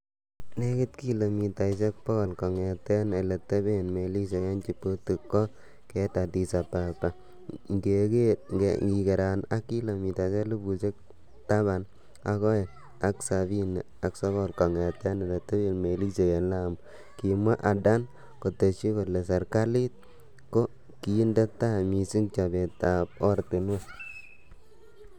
"Nekit kilomitaisiek bogol sogol kongeten ele teben melisiek en Djibouti ko keit Addis Ababa ingigeran ak kilomitaisiek elfusiek taban ak o'eng ak sabini ak sogol kongeten ele teben melisiek en Lamu,"Kimwa Adan, kotesyi kole serkalit ko kinde tai missing chobetab oratinwek.